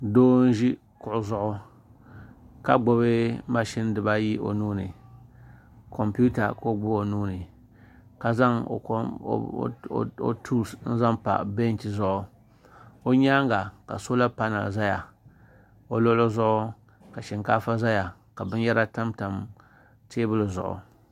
do m ʒɛ kuɣ' zuɣ' ka gbabi mashɛni di baayi o nuuni kompita ka o gbabi o nuuni ka zaŋ o kom o tusi zaŋ pa bɛnchɛ zuɣ' o nyɛŋa ka sola pana zaya o luɣili zuɣ' ka shɛnlaaƒa zaya la bɛnyara tamtam tɛbuli zuɣ'